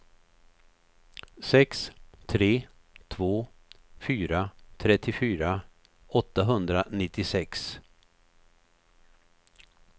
sex tre två fyra trettiofyra åttahundranittiosex